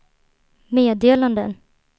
meddelanden